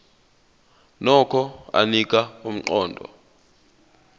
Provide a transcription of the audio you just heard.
nokho anika umqondo